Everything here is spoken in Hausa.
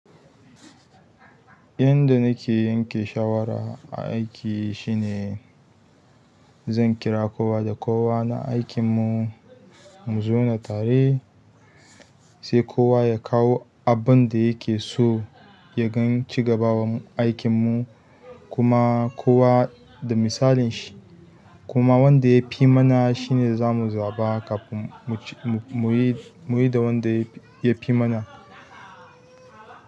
Yanda nake yanke shawara aiki shine zan kira kowa da kowa na aikinmu mu zauna tare, sai kowa ya kawo abin da yake so ya ga cigabawan aikinmu kuma kowa da misalin shi. Kuma wanda ya fi mana shine za mu zaɓa kafin muc-- mu yi da wanda ya fi mana.